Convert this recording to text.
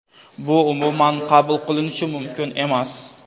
bu umuman qabul qilinishi mumkin emas.